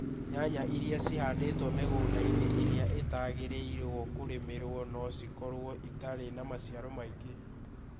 Nyanya iria cihanditũo mĩgũnda ĩria ĩtagĩrĩirũo kũrĩmĩrwo no cikorũo itarĩ na maciaro maingĩ.